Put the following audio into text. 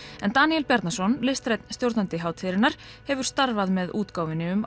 en Daníel Bjarnason listrænn stjórnandi hátíðarinnar hefur starfað með útgáfunni um